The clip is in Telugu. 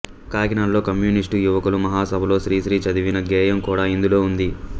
కాకినాడలో కమ్యూనిస్టు యువకుల మహాసభలో శ్రీశ్రీ చదివిన గేయం కూడా ఇందులో ఉంది